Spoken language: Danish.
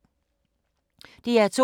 DR2